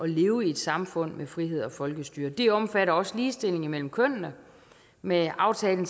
leve i et samfund med frihed og folkestyre det omfatter også ligestilling mellem kønnene med aftalen